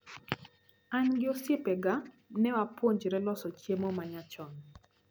An gi osiepega newapuonjre loso chiemo manyachon.